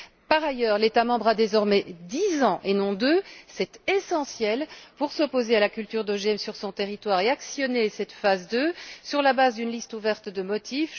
Par ailleurs, l'État membre a désormais dix ans et non deux c'est essentiel pour s'opposer à la culture d'OGM sur son territoire et actionner cette phase 2 sur la base d'une liste ouverte de motifs.